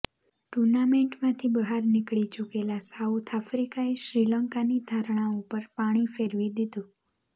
ટુર્નામેન્ટમાંથી બહાર નીકળી ચૂકેલા સાઉથ આફ્રિકાએ શ્રીલંકાની ધારણાઓ પર પાણી ફેરવી દીધું